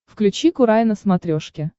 включи курай на смотрешке